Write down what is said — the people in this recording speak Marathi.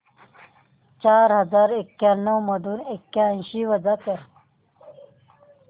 चार हजार एक्याण्णव मधून ऐंशी वजा कर